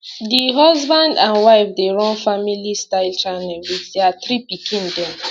di husband and wife dey run family style channel wit dia three pikin dem